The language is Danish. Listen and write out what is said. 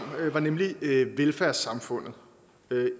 var nemlig velfærdssamfundet